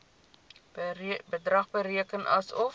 bedrag bereken asof